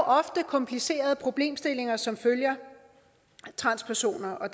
ofte komplicerede problemstillinger som følger transpersoner og